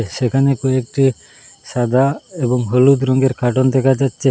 সেখানে কয়েকটি সাদা এবং হলুদ রঙ্গের কার্টন দেখা যাচ্চে।